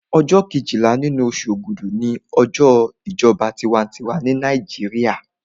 Ọjọ́ kejìlá nínú oṣù ògúdù ni ọjọ́ ìjọba tinwatinwa ní Nàìjíríà